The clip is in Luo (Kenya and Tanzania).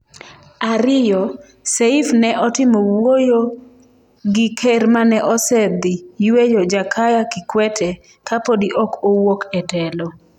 Ariyo, Seif ne otimo wuoyo gi ker mane osedhi yueyo Jakaya Kikwete kapodi ok owuok e telo.